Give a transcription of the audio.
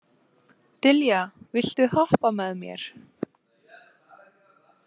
Dilja, viltu hoppa með mér?